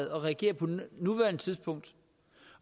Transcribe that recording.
at reagere på nuværende tidspunkt